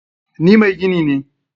Ni mai gini ne.